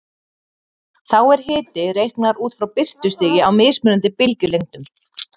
Þá er hiti reiknaður út frá birtustigi á mismunandi bylgjulengdum.